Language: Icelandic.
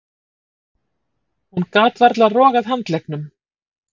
Hún gat varla rogað handleggnum.